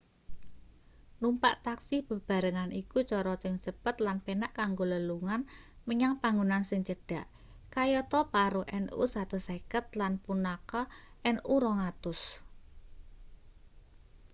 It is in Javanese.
numpak taksi bebarengan iku cara sing cepet lan penak kanggo lelugan menyang panggonan sing cedhak kayata paro nu 150 lan punakha nu 200